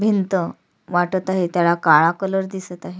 भिंत वाटत आहे त्याला काळा कलर दिसत आहे.